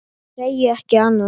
Segi ekki annað.